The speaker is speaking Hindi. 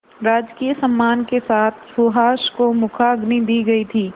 राजकीय सम्मान के साथ सुहास को मुखाग्नि दी गई थी